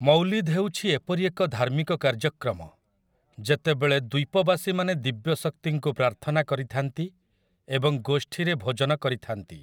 ମୌଲିଦ୍ ହେଉଛି ଏପରି ଏକ ଧାର୍ମିକ କାର୍ଯ୍ୟକ୍ରମ ଯେତେବେଳେ ଦ୍ୱୀପବାସୀମାନେ ଦିବ୍ୟ ଶକ୍ତିଙ୍କୁ ପ୍ରାର୍ଥନା କରିଥାନ୍ତି ଏବଂ ଗୋଷ୍ଠୀରେ ଭୋଜନ କରିଥାନ୍ତି ।